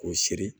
K'o siri